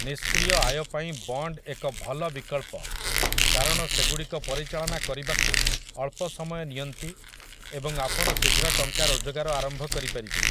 ନିଷ୍କ୍ରିୟ ଆୟ ପାଇଁ ବଣ୍ଡ୍ ଏକ ଭଲ ବିକଳ୍ପ କାରଣ ସେଗୁଡ଼ିକ ପରିଚାଳନା କରିବାକୁ ଅଳ୍ପ ସମୟ ନିଅନ୍ତି ଏବଂ ଆପଣ ଶୀଘ୍ର ଟଙ୍କା ରୋଜଗାର ଆରମ୍ଭ କରିପାରିବେ ।